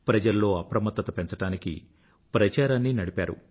ప్రజల్లో అప్రమత్తత పెంచడానికి ప్రచారాన్ని నడిపారు